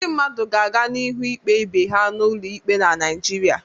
Ndị mmadụ ga aganihu ikpe ibe ha n'ụlọ ikpe na Naịjirịa.